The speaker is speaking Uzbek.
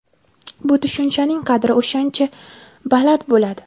bu tushunchaning qadri o‘shancha baland bo‘ladi.